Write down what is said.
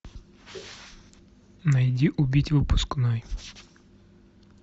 найди убить выпускной